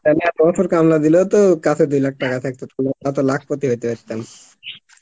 তাহলে এ বছর দিলেও তো আমাদের কাছে দুই lakh টাকা থাকতো, আমরা তো lakh পতি হইতে পারতাম